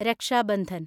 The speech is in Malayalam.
രക്ഷ ബന്ധൻ